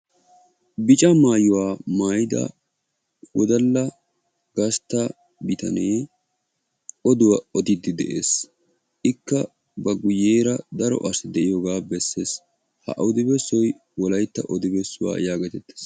Bica maayuwa maayida wodalla gastta bitanee oduwa odiiddi de'ees. Ikka ba guyyeera daro asi de'iyogaa bessees. Ha odi bessoy wolaytta odi bessuwa yaagetettees.